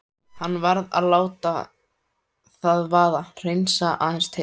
Hann varð að láta það vaða, hreinsa aðeins til.